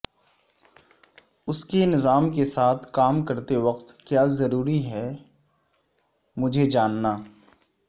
کے نظام کے ساتھ کام کرتے وقت کیا ضروری ہے کہ میں جاننا